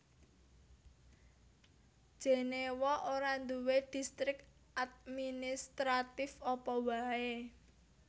Jenéwa ora duwé distrik administratif apa waé